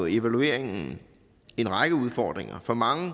evalueringen en række udfordringer for mange